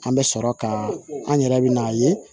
An bɛ sɔrɔ ka an yɛrɛ bɛ n'a ye